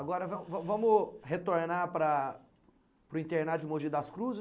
Agora, van van vamos retornar para para o internato de Mogi das Cruzes.